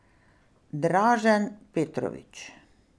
Dražen Petrović.